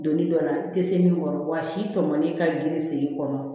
Donni dɔ la i tɛ se min kɔrɔ wa si tɔmɔli ka girin sen i kɔnɔ